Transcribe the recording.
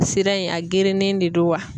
Sira in a gerennen de do wa?